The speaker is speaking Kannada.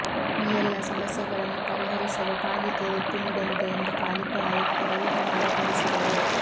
ಈ ಎಲ್ಲ ಸಮಸ್ಯೆಗಳನ್ನು ಪರಿಹರಿಸಲು ಪಾಲಿಕೆ ಒತ್ತು ನೀಡಲಿದೆ ಎಂದು ಪಾಲಿಕೆ ಆಯುಕ್ತ ರವಿಕುಮಾರ ತಿಳಿಸಿದರು